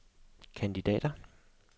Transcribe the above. kandidater